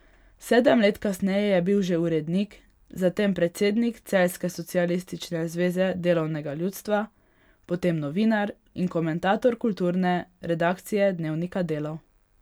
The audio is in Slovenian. Sedem let kasneje je bil že urednik, zatem predsednik celjske Socialistične zveze delovnega ljudstva, potem novinar in komentator kulturne redakcije dnevnika Delo.